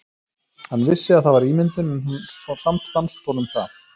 Hann vissi að það var ímyndun en samt fannst honum það.